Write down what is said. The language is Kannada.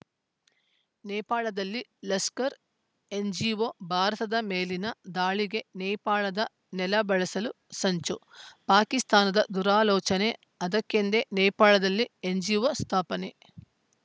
ನೇಪಾಳದಲ್ಲಿ ಲಷ್ಕರ್‌ ಎನ್‌ಜಿಒ ಭಾರತದ ಮೇಲಿನ ದಾಳಿಗೆ ನೇಪಾಳದ ನೆಲ ಬಳಸಲು ಸಂಚು ಪಾಕಿಸ್ತಾನ ದುರಾಲೋಚನೆ ಅದಕ್ಕೆಂದೇ ನೇಪಾಳದಲ್ಲಿ ಎನ್‌ಜಿಒ ಸ್ಥಾಪನೆ